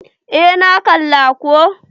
Eh, na kalla ko.